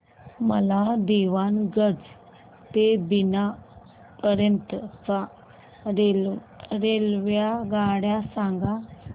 मला दीवाणगंज ते बिना पर्यंत च्या रेल्वेगाड्या सांगा